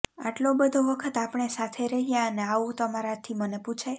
આટલો બધો વખત આપણે સાથે રહ્યાં અને આવું તમારાથી મને પુછાય